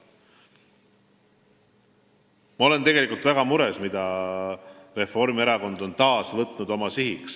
Ma olen tegelikult väga mures selle pärast, mille Reformierakond on taas oma sihiks võtnud.